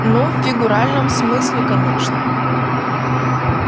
ну в фигуральном смысле конечно